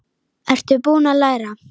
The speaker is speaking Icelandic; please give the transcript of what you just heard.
Ertu búinn að læra?